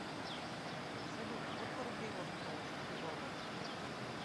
салют сколько рублей можно получить за доллары